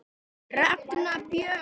Ragna Björg.